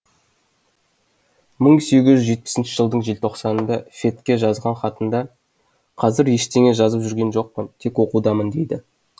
мың сегіз жүз жетпісінші жылдың желтоқсанында фетке жазған хатында қазір ештеңе жазып жүрген жоқпын тек оқудамын дейді